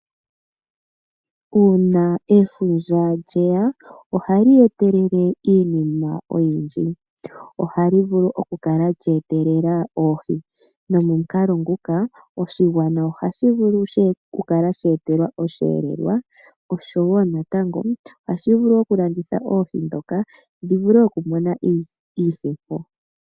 Uuna efundja lyeya ohali etelele iinima oyindji. Ohali vulu oku kala lye etelela oohi nomomukalo nguka oshigwana ohashi etelwa osheelelwa nohashi vulu okulanditha oohi ndhoka shi vule okumona iisimpo.